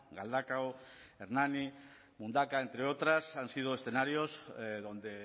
galdakao hernani mundaka entre otras han sido escenarios donde